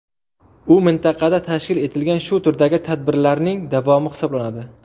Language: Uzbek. U mintaqada tashkil etilgan shu turdagi tadbirlarning davomi hisoblanadi.